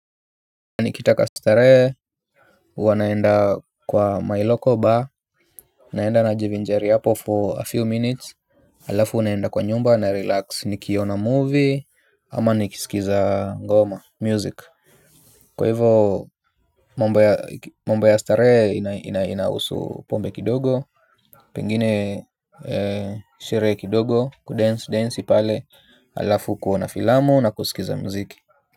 Nikitaka starehe, huwa naenda kwa my local bar, naenda najivinjari hapo for a few minutes. Alafu unaenda kwa nyumba, na relax, nikiona movie, ama nikisikiza ngoma, music. Kwa hivo, mambo ya starehe inahusu pombe kidogo, pengine sherehe kidogo, kudensi, densi pale, alafu kuona filamu na kusikiza mziki.